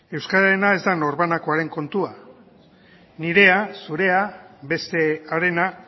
euskararena ez da norbanakoaren kontua nirea zurea beste harena